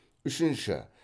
үшінші